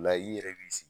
La i yɛrɛ b'i sigi